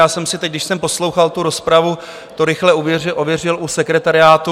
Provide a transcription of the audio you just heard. Já jsem si teď, když jsem poslouchal tu rozpravu, to rychle ověřil u sekretariátu.